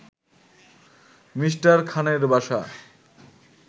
Me. খানের বাসা